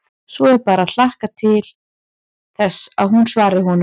Svo er bara að hlakka til þess að hún svari honum.